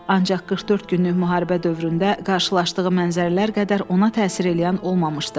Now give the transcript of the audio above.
Ancaq 44 günlük müharibə dövründə qarşılaşdığı mənzərələr qədər ona təsir eləyən olmamışdı.